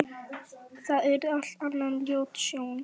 Það yrði allt annað en ljót sjón.